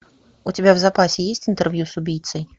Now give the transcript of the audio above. у тебя в запасе есть интервью с убийцей